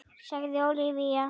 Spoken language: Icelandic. sagði Ólafía